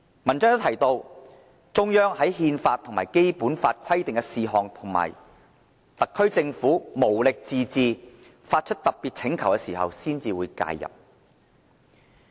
文章亦提到："中央則在憲法與《基本法》規定的事項及特區政府無力自治、發出特別請求時才會予以介入"。